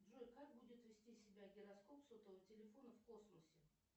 джой как будет вести себя гироскоп сотового телефона в космосе